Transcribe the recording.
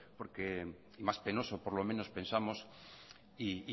y más penoso por lo menos pensamos y